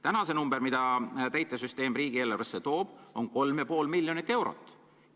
Praegu toob täitesüsteem riigieelarvesse kolm ja pool miljonit eurot.